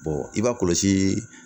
i b'a kɔlɔsi